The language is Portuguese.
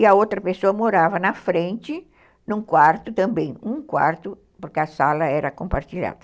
E a outra pessoa morava na frente, num quarto também, um quarto, porque a sala era compartilhada.